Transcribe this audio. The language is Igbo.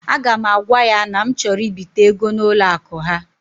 A ga m agwa ya na m chọrọ ibite ego n'ụlọ akụ ha.